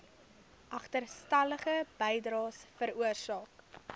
agterstallige bydraes veroorsaak